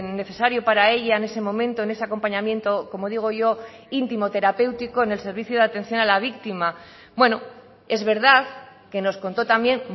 necesario para ella en ese momento en ese acompañamiento como digo yo íntimo terapéutico en el servicio de atención a la víctima bueno es verdad que nos contó también